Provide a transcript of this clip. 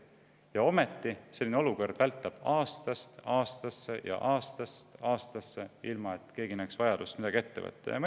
Ja ometi vältab selline olukord aastast aastasse ja aastast aastasse, ilma et keegi näeks vajadust midagi ette võtta.